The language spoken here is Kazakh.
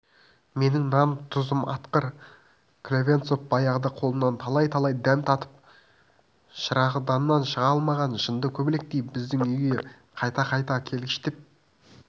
менің нан-тұзым атқыр клевенцов баяғыда қолымнан талай-талай дәм татып шырағданнан шыға алмаған жынды көбелектей біздің үйге қайта-қайта келгіштеп